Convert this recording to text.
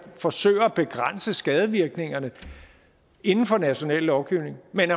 forsøger at begrænse skadevirkningerne inden for national lovgivning men